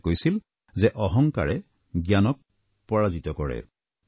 তেখেতে কৈছিল যে অহংকাৰে জ্ঞানক পৰাজিত কৰে